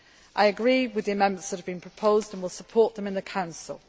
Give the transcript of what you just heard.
work. I agree with the amendments that have been proposed and will support them in the Council.